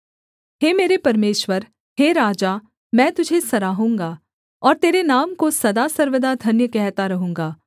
हे मेरे परमेश्वर हे राजा मैं तुझे सराहूँगा और तेरे नाम को सदा सर्वदा धन्य कहता रहूँगा